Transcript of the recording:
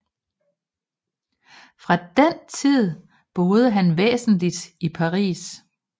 Fra den tid boede han væsentlig i Paris